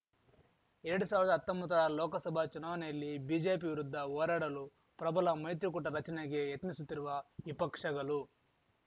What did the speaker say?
ಎರಡ್ ಸಾವಿರ್ದಾ ಹತ್ತೊಂಬತ್ತರ ಲೋಕಸಭಾ ಚುನಾವಣೆಯಲ್ಲಿ ಬಿಜೆಪಿ ವಿರುದ್ಧ ಹೋರಾಡಲು ಪ್ರಬಲ ಮೈತ್ರಿಕೂಟ ರಚನೆಗೆ ಯತ್ನಿಸುತ್ತಿರುವ ವಿಪಕ್ಷಗಲು